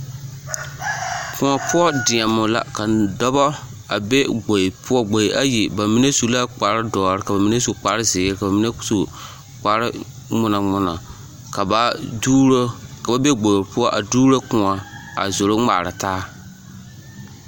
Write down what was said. Pɔge poɔ deɛmo la ka dɔbɔ a be gboe poɔ gboe ayi bamine su la kpare dɔre ka bamine su kpare zeere ka bamine su kpare ŋmonaŋmona ka ba duuro ka ba be gboe poɔ a duuro kõɔ a zoro ŋmaara taa.